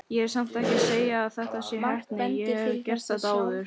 Ég er samt ekki að segja að þetta sé heppni, ég hef gert þetta áður.